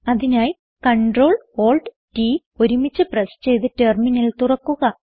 അതിനായി Ctrl Alt T ഒരുമിച്ച് press ചെയ്ത് ടെർമിനൽ തുറക്കുക